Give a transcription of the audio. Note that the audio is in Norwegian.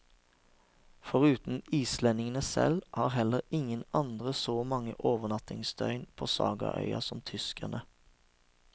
Foruten islendingene selv, har heller ingen andre så mange overnattingsdøgn på sagaøya som tyskerne.